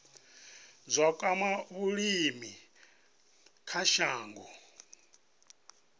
zwa kwama vhulimi kha shango